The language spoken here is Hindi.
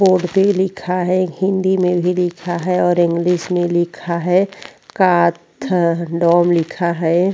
बोर्ड में लिखा है हिंदी में भी लिखा है और इंग्लिश में भी कथादोम लिखा है।